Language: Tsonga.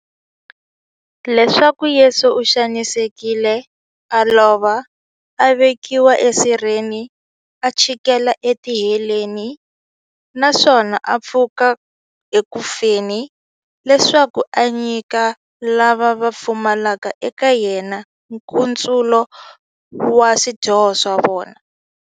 Leswaku Yesu u xanisekile, a lova, a vekiwa esirheni, a chikela etiheleni, naswona a pfuka eku feni, leswaku a nyika lava va pfumelaka eka yena, nkutsulo wa swidyoho swa vona.